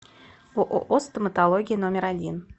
ооо стоматология номер один